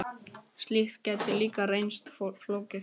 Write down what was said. Slíkt gæti líka reynst flókið.